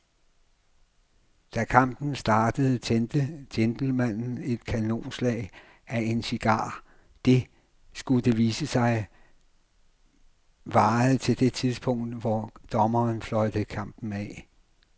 Da kampen startede tændte gentlemanen et kanonslag af en cigar, der, skulle det vise sig, varede til det tidspunkt, hvor dommeren fløjtede kampen af.